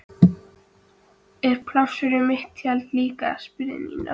Er pláss fyrir mitt tjald líka? spurði Nína.